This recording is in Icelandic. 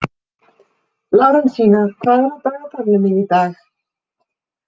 Lárensína, hvað er á dagatalinu mínu í dag?